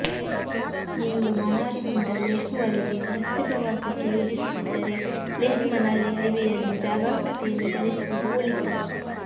ನೀವು ಮನಾಲಿದಿಂದ ಲೆಹ್ ವರೆಗೆ ರಸ್ತೆ ಪ್ರವಾಸಕ್ಕೆ ಯೋಜಿಸುತ್ತಿದ್ದರೆ ಲೆಹ್ ಮನಾಲಿ ಹೈವೇಯಲ್ಲಿ ಜಾಗರೂಕತೆಯಿಂದ ಚಲಿಸುವುದು ಒಳಿತು